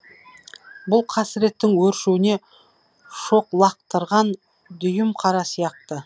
бұл қасіреттің өршуіне шоқ лақтырған дүйімқара сияқты